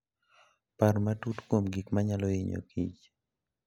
Par matut kuom gik manyalo hinyokich.